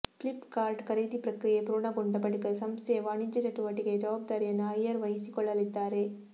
flip cart ಖರೀದಿ ಪ್ರಕ್ರಿಯೆ ಪೂರ್ಣಗೊಂಡ ಬಳಿಕ ಸಂಸ್ಥೆಯ ವಾಣಿಜ್ಯ ಚಟುವಟಿಕೆಯ ಜವಾಬ್ದಾರಿಯನ್ನು ಅಯ್ಯರ್ ವಹಿಸಿಕೊಳ್ಳಲಿದ್ದಾರೆ